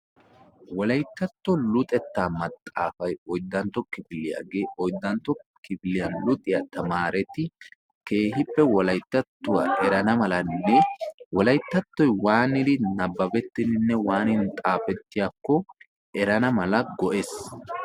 wolayttatto luxettaa maxxaafay oyddantto kifiliyaagee oyddantto kifiliyaa luxiyaa tamaareti keehippe wolayttattuwaa erana malanne wolayttattoy waanidi nabbabettidinne waanidi xaafettiyaakko erana mala go'ees.